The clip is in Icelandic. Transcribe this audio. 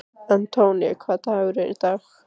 Antonio, hvaða dagur er í dag?